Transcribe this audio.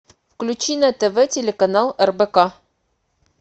включи на тв телеканал рбк